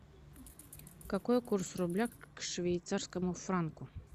какой курс рубля к швейцарскому франку